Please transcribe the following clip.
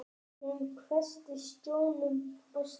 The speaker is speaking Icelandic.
Hún hvessti sjónum á Stefán.